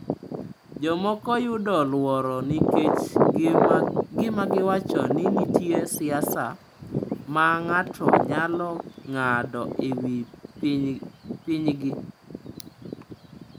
Jomoko yudo luoro nikech gima giwacho ni nitie siasa ma ng’ato nyalo ng’ado e wi pinygi.